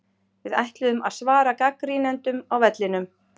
Við ætluðum að svara gagnrýnendum á vellinum.